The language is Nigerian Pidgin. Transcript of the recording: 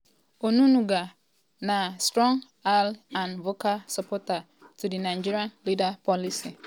onunuga na strong ally and vocal supporter to di nigerian leader policies.